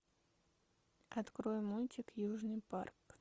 открой мультик южный парк